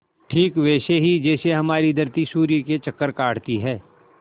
ठीक वैसे ही जैसे हमारी धरती सूर्य के चक्कर काटती है